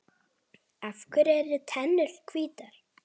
Af hverju eru tennur hvítar?